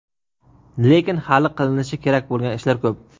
lekin hali qilinishi kerak bo‘lgan ishlar ko‘p.